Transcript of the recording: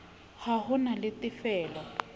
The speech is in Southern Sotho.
ha ho na le tefelo